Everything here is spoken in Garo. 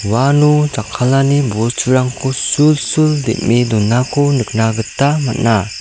uano jakkalani bosturangko sulsul dem·e donako nikna gita man·a.